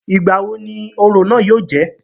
Ìgbà wo ni orò náà yóò jẹ́?